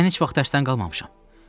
Mən heç vaxt dərsdən qalmamışam.